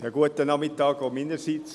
Auch meinerseits einen guten Nachmittag.